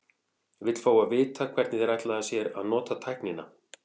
Vill fá að vita, hvernig þeir ætla sér að nota tæknina.